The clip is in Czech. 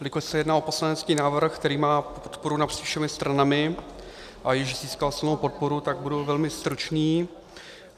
Jelikož se jedná o poslanecký návrh, který má podporu napříč všemi stranami a již získal svou podporu, tak budu velmi stručný.